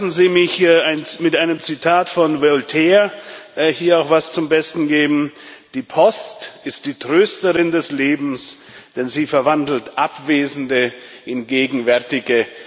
Lassen Sie mich hier ein Zitat von Voltaire zum Besten geben Die Post ist die Trösterin des Lebens, denn sie verwandelt Abwesende in Gegenwärtige.